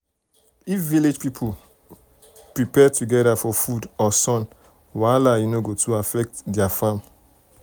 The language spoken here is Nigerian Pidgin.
if village people people prepare together for flood or sun wahala e no go too affect their farm.